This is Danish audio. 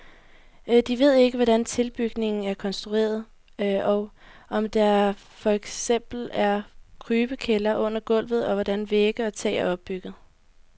De ved ikke hvordan tilbygningen er konstrueret, og om der for eksempel er krybekælder under gulvet og hvordan vægge og tag er opbygget.